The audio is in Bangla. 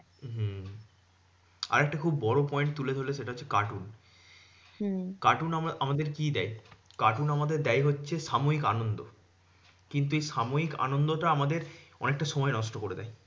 হম আরেকটা খুব বড় point তুলে ধরলে সেটা হচ্ছে cartoon cartoon আমা~ আমাদের কি দেয়? cartoon আমাদের দেয় হচ্ছে সাময়িক আনন্দ কিন্তু এই সাময়িক আনন্দটা আমাদের অনেকটা সময় নষ্ট করে দেয়।